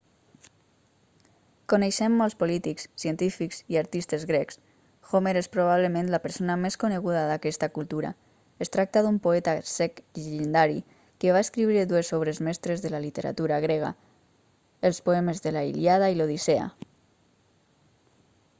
coneixem molts polítics científics i artistes grecs homer és probablement la persona més coneguda d'aquesta cultura es tracta d'un poeta cec llegendari que va escriure dues obres mestres de la literatura grega els poemes de la ilíada i l'odissea